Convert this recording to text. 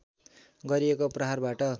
गरिएको प्रहारबाट